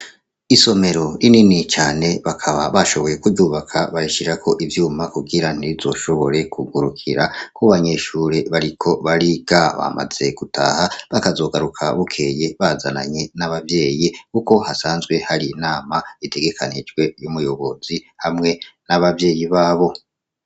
Isomero rinini cane bakaba bashoboye kuryubaka bariishirako ivyuma kugira ntizoshobore kugurukira ku banyeshure bariko bariga bamaze gutaha bakazogaruka bukeye bazananye n'ababyeyi kuko hasanzwe hari inama itegekanijwe y'umuyobozi hamwe n'abavyeyi babo.